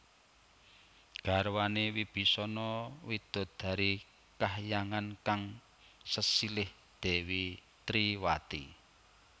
Garwané Wibisana widodari kahyangan kang sesilih Dèwi Triwati